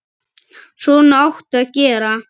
Svona áttu að gera.